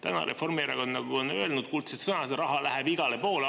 Täna Reformierakond on öelnud kuldsed sõnad: raha läheb igale poole.